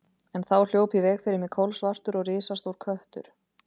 En þá hljóp í veg fyrir mig kolsvartur og risastór köttur.